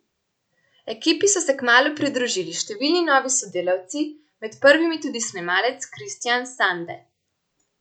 Ekipi so se kmalu pridružili številni novi sodelavci, med prvimi tudi snemalec Kristjan Sande.